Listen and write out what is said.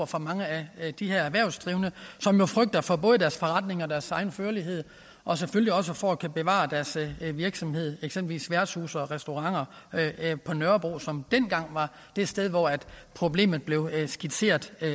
for mange af de her erhvervsdrivende som jo frygter for både deres forretninger deres egen førlighed og selvfølgelig også for ikke at kunne bevare deres virksomheder eksempelvis værtshuse og restauranter på nørrebro som dengang var det sted hvor problemet blev skitseret at